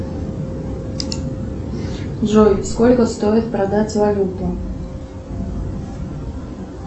джой сколько стоит продать валюту